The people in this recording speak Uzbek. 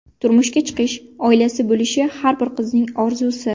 Turmushga chiqish, oilasi bo‘lishi har bir qizning orzusi.